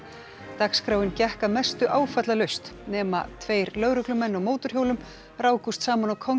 dagskráin gekk að mestu áfallalaust nema tveir lögreglumenn á mótorhjólum rákust saman á